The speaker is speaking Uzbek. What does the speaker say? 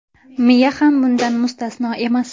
Miya ham bundan mustasno emas.